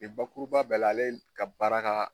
Nin bakuruba bɛɛ la, ale ka baara ka